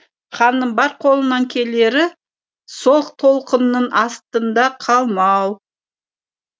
ханның бар қолынан келері сол толқынның астында қалмау